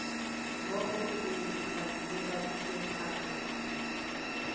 mo go tse di rategang